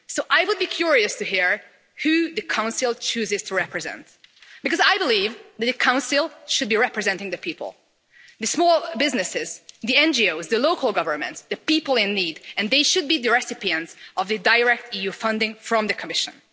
So I would be curious to hear who the Council chooses to represent, because I believe that the Council should be representing the people, the small businesses, the NGOs, the local governments, the people in need, and they should be the recipients of a direct EU funding from the Commission.